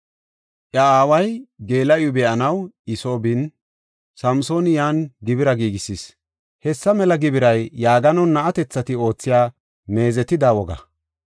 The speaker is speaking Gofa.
Iya aaway geela7iw be7anaw I soo bin, Samsooni yan gibira giigisis. Hessa mela gibiray yaaganon na7atethati oothiya meezetida woga.